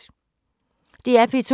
DR P2